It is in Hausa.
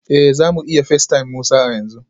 Eh za mu iya facetime Musa a yanzu